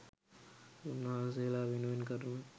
උන්වහන්සේලා වෙනුවෙන් කරන